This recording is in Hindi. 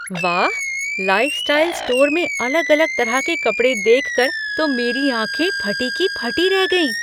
वाह, लाइफ़़स्टाइल स्टोर में अलग अलग तरह के कपड़े देखकर तो मेरी आँखें फटी की फटी रह गईं।